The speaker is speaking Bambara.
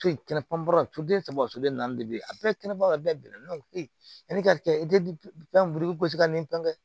Den saba soden naani de bilen a bɛɛ kɛnɛ bɛɛ bɛnna ne ko yani ka kɛ i tɛ fɛn buru gosi ka n'i pan kɛ